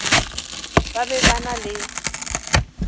ba be ba na le